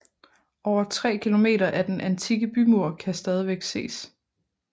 Over tre km af den antikke bymur kan stadigvæk ses